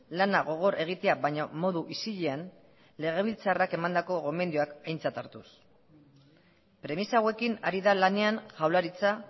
lana gogor egitea baina modu isilean legebiltzarrak emandako gomendioak aintzat hartuz premisa hauekin ari da lanean jaurlaritza